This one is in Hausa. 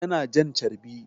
Yana jan carbi